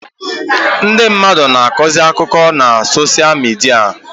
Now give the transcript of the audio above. Ndị mmadụ na-akọzi akụkọ ha na soshia midia